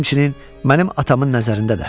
Həmçinin mənim atamın nəzərində də.